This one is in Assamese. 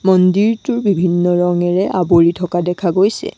মন্দিৰটো বিভিন্ন ৰঙেৰে আৱৰি থকা দেখা গৈছে।